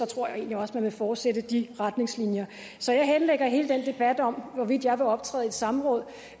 tror jeg egentlig også man vil fortsætte de retningslinjer så jeg henlægger hele den debat om hvorvidt jeg vil optræde i et samråd